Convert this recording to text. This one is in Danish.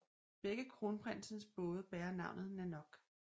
Begge kronprinsens både bærer navnet Nanoq